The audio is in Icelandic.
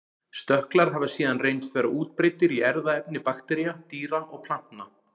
Stökklar hafa síðan reynst vera útbreiddir í erfðaefni baktería, dýra og plantna.